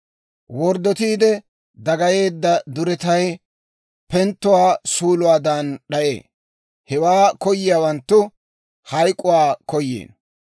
Worddotiide dagayeedda duretay penttuwaa suuluwaadan d'ayee; hewaa koyiyaawanttu hayk'k'uwaa koyiino.